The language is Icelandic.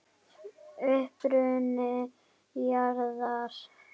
Uppruni jarðar